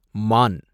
மான்